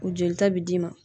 U jolita bɛ d'i ma.